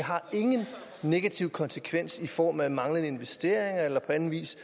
ingen negative konsekvenser har i form af manglende investeringer eller på anden vis